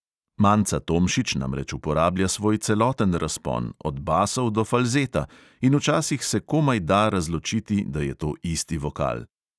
Manca tomšič namreč uporablja svoj celoten razpon, od basov do falzeta, in včasih se komaj da razločiti, da je to isti vokal.